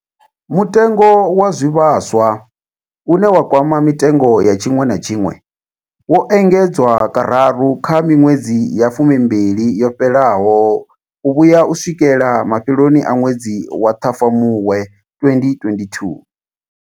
Mutengo wa zwivhaswa, une wa kwama mitengo ya tshiṅwe na tshiṅwe, wo engedzwa kararu kha miṅwedzi ya fumimbili yo fhelaho u vhuya u swikela mafheloni a ṅwedzi wa Ṱhafamuhwe 2022.